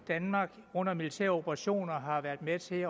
danmark under militære operationer har været med til